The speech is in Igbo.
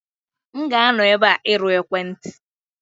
M ga-anọ ebe a irụ ekwentị.